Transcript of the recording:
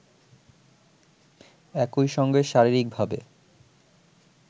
একইসঙ্গে শারীরিকভাবে